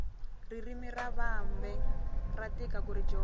ririmi ra vambe ra tika kuri dyondza